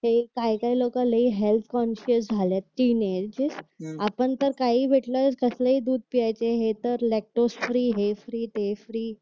ते काय काय लोक लय हेल्प कॉन्फीइन्स झालेत आपण तर काहीही भेटलं कसही दूध पिण्याचे हे तर लॅक्टोस फ्री हे फ्री ते फ्री